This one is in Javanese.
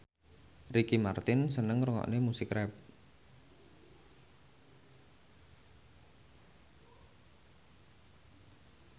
Ricky Martin seneng ngrungokne musik rap